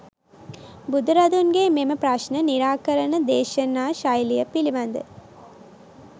බුදුරදුන්ගේ මෙම ප්‍රශ්න නිරාකරණ දේශනා ශෛලිය පිළිබඳ